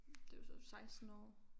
Det er jo så 16 år